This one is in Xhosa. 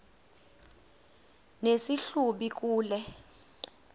nesi hlubi kule